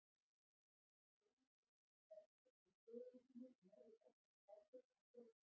Jóni Ólafi svelgdist á teinu sínu og lagði bollann frá sér á borðið.